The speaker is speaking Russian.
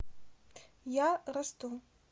я расту